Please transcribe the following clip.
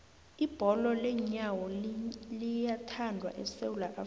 ibholo leenyawo liyathandwa esewula afrika